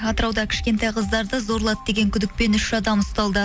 атырауда кішкентай қыздарды зорлады деген күдікпен үш адам ұсталды